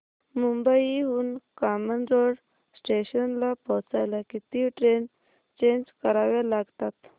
मुंबई हून कामन रोड स्टेशनला पोहचायला किती ट्रेन चेंज कराव्या लागतात